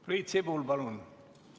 Priit Sibul, palun!